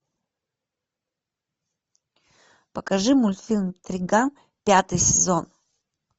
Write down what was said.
покажи мультфильм триган пятый сезон